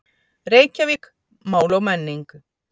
Reykjavík: Mál og menning